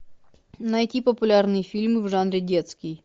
найти популярные фильмы в жанре детский